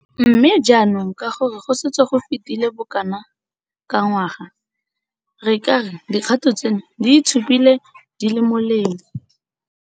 Mme, jaanong ka gore go setse go fetile bokana ka ngwaga, re ka re dikgato tseno di itshupile di le molemo.